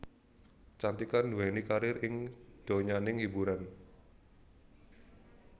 Cantika nduweni karir ing donyaning hiburan